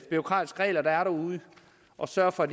bureaukratiske regler der er derude og sørger for at